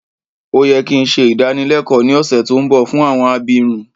Ó yẹ ki n se ìdánilẹ́kọ ni ọ̀ṣẹ̀ to nbọ fún àwọn abirun